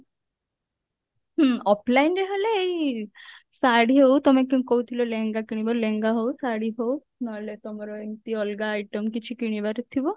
ହୁଁ offline ରେ ହେଲେ ଏଇ ଶାଢୀ ହଉ ତମେ କ କହୁଥିଲ ଲେହେଙ୍ଗା କିଣିବ ଲେହେଙ୍ଗା ହଉ ଶାଢୀ ହଉ ନହେଲେ ତମର ଏମତି ଅଲଗା item କିଛି କିଣିବାର ଥିବ